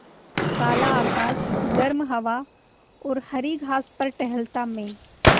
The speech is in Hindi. काला आकाश गर्म हवा और हरी घास पर टहलता मैं